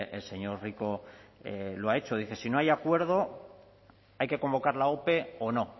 el señor rico lo ha hecho dice si no hay acuerdo hay que convocar la ope o no